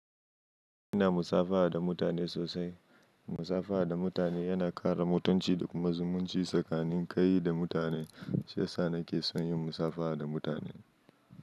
Ina musafaha da mutane sosai. Musafaha da mutane yana ƙara mutunci da kuma zumunci tsakanin kai da mutane. Shi yasa nake son yin musafaha da mutane.